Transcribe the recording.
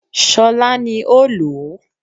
Ṣọlá ní ó lò ó